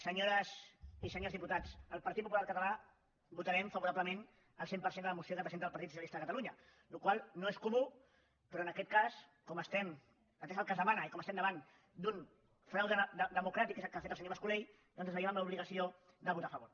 senyores i senyors diputats el partit popular català votarem favorablement al cent per cent de la moció que presenta el partit socialista de catalunya cosa que no és comú però en aquest cas atès el que es demana i com que estem davant d’un frau democràtic que és el que ha fet el senyor mas colell doncs ens veiem amb l’obligació de votar a favor